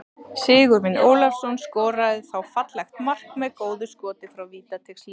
Sigurvin Ólafsson skoraði þá fallegt mark með góðu skoti frá vítateigslínunni.